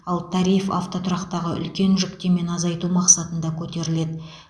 ал тариф автотұрақтағы үлкен жүктемені азайту мақсатында көтеріледі